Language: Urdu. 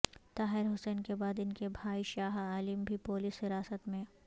طاہر حسین کے بعد ان کے بھائی شاہ عالم بھی پولس حراست میں